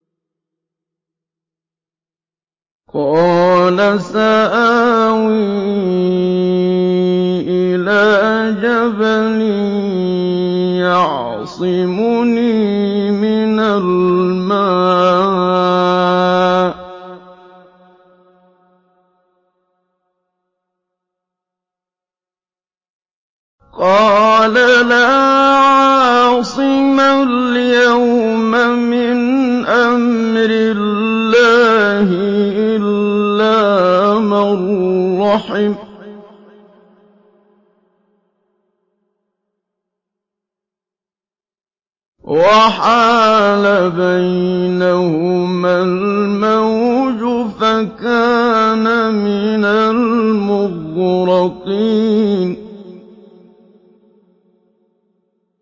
قَالَ سَآوِي إِلَىٰ جَبَلٍ يَعْصِمُنِي مِنَ الْمَاءِ ۚ قَالَ لَا عَاصِمَ الْيَوْمَ مِنْ أَمْرِ اللَّهِ إِلَّا مَن رَّحِمَ ۚ وَحَالَ بَيْنَهُمَا الْمَوْجُ فَكَانَ مِنَ الْمُغْرَقِينَ